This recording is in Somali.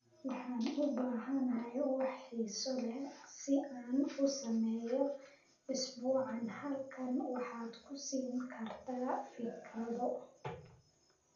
Waxaan u baahanahay wax xiiso leh si aan u sameeyo isbuucaan halkan waxaad ku siin kartaa fikrado